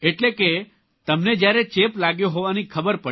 એટલે કે તમને જયારે ચેપ લાગ્યો હોવાની ખબર પડી